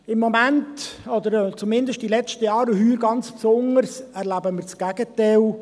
Im Moment, oder zumindest in den letzten Jahren, und heuer ganz besonders, erleben wir das Gegenteil.